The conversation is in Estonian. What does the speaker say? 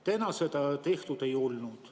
Täna seda tehtud ei ole.